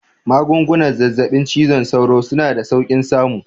Magungunan zazzaɓin cizon sauro suna da saukin samu